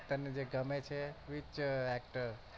તને જે ગમે છે which actor